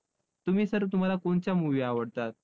तुम्ही sir तुम्हाला कोणत्या movie आवडतात?